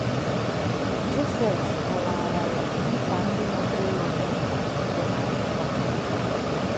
Josette kọwaara ya nkwa ndị magburu onwe ha dị na akwụkwọ a